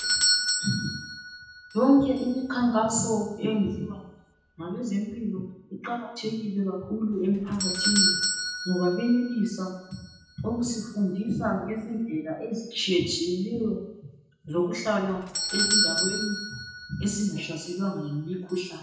Yonke imikhankaso eyenziwa ngabezempilo iqakathekile kakhulu emphakathini ngoba benelisa ukusifundisa ngezindlela ezitshiyetshiyeneyo zokuhlala ezindaweni esingahlaselwanga yimikhuhlane.